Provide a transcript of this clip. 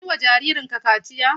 An yi wa jaririn ka kaciya?